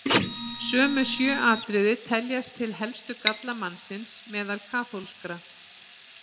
Sömu sjö atriði teljast til helstu galla mannsins meðal kaþólskra.